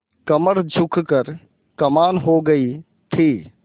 कमर झुक कर कमान हो गयी थी